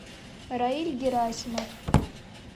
раиль герасимов